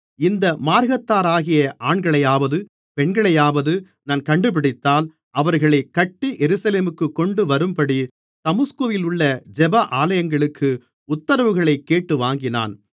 இந்த மார்க்கத்தாராகிய ஆண்களையாவது பெண்களையாவது தான் கண்டுபிடித்தால் அவர்களைக் கட்டி எருசலேமுக்குக் கொண்டுவரும்படி தமஸ்குவிலுள்ள ஜெப ஆலயங்களுக்கு உத்தரவுகளைக் கேட்டு வாங்கினான்